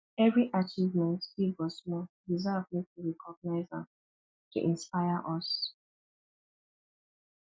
every achievement big or small deserve make we recognize am to inspire us